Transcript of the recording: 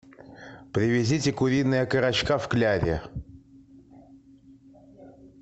привезите куриные окорочка в кляре